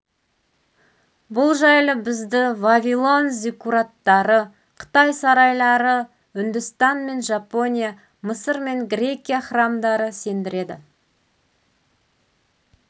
бұл жайлы бізді вавилон зиккураттары қытай сарайлары үндістан мен жапония мысыр мен грекия храмдары сендіреді